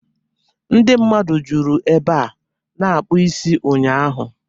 Ndi mmadụ juru ebe a na-akpụ isi ụnyaahụ.